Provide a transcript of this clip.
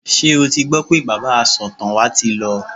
Ṣé o ti gbọ́ pé bàbá asọ̀tàn wa ti lọ?